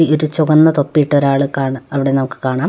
ഈ ഒരു ചുവന്ന തൊപ്പിയിട്ട് ഒരാളെ കാണ അവിടെ നമുക്ക് കാണാം.